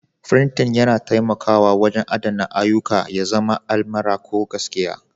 Frinting yana taimakawa wajen adana ayyuka, ya zama almara ko gaskiya.